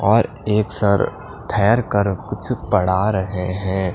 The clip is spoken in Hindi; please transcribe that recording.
और एक सर ठहर कर कुछ पढ़ा रहे हैं।